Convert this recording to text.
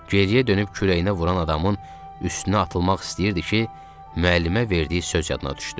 Geriyə dönüb kürəyinə vuran adamın üstünə atılmaq istəyirdi ki, müəllimə verdiyi söz yadına düşdü.